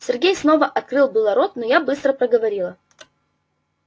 сергей снова открыл было рот но я быстро проговорила